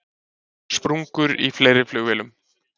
Sprungur í fleiri flugvélum